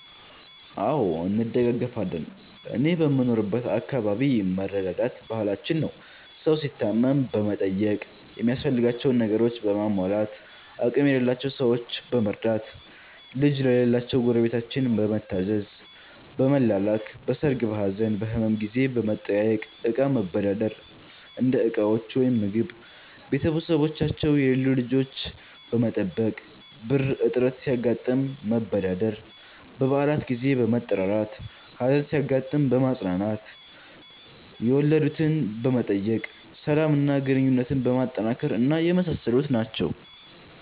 አዎ እንደጋገፋለን እኔ በምኖርበት አከባቢ መረዳዳት ባህላችን ነው። ሠው ሲታመም በመጠየቅ ሚያስፈልጋቸውን ነገሮችን በማሟላት፣ አቅም የሌላቸውን ሠዎች በመርዳት፣ ልጅ ለሌላቸው ጎረቤታችን በመታዘዝ፣ በመላላክ፣ በሠርግ፣ በሀዘን፣ በህመም ጊዜ በመጠያየቅ፣ እቃ መበዳደር (እንደ ዕቃዎች ወይም ምግብ)፣ቤተሠቦቻቸው የሌሉ ልጆች በመጠበቅ፣ ብር እጥረት ሲያጋጥም መበዳደር፣ በበአላት ጊዜ በመጠራራት፣ ሀዘን ሲያጋጥም በማፅናናት፣ የወለድትን በመጠየቅ፣ ሠላም እና ግንኙነትን በማጠናከር እና የመሣሠሉት ናቸው።